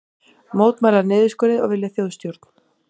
Mótmæla niðurskurði og vilja þjóðstjórn